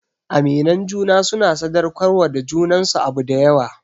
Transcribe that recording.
Aminan juna suna sadaukar wa junansu abu dayawa